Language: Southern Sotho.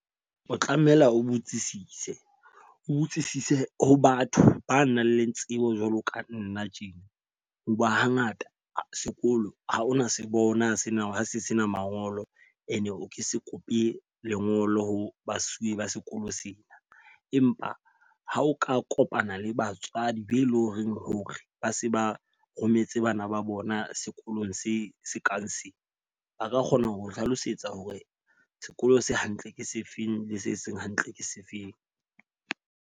O tlameha o botsisise, o botsisise ho batho ba nang le tsebo jwalo ka nna tjena. Ho ba ha ngata sekolo ha ona se bona sena se sena mangolo. E ne o ke se kope lengolo ho basuwe ba sekolo sena. Empa ha o ka kopana le batswadi be eleng horeng hore ba se ba rometse bana ba bona sekolong se se kang se ba ka kgona ho o hlalosetsa hore sekolo se hantle je sefeng le se seng hantle ke sefeng.